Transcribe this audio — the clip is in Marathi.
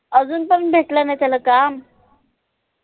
अजून पन भेटलं नाई त्याला काम